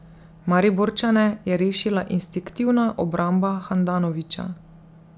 Mariborčane je rešila instinktivna obramba Handanovića.